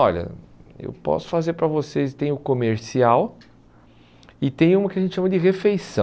Olha, eu posso fazer para vocês, tem o comercial e tem uma que a gente chama de refeição.